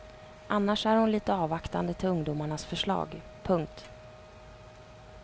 Annars är hon lite avvaktande till ungdomarnas förslag. punkt